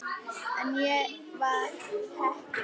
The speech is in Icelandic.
En ég var heppin.